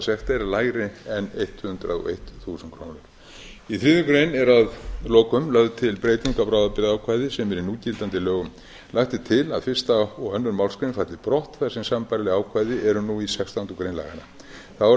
fjárhagssekt er lægri en hundrað og eitt þúsund krónur í þriðju grein er að lokum lögð til breyting á bráðabirgðaákvæði sem er í núgildandi lögum lagt er til að fyrsta og annarri málsgrein falli brott þar sem sambærileg ákvæði eru nú í sextándu grein laganna þá er